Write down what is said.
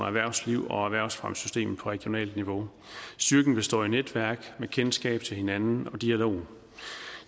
erhvervslivet og erhvervsfremmesystemet på regionalt niveau styrken består i netværk med kendskab til hinanden og dialog